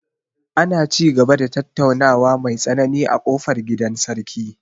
Ana ci gaba da tattaunawa mai tsanani a ƙofar gidan sarki.